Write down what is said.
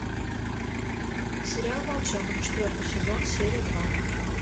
сериал волчонок четвертый сезон серия два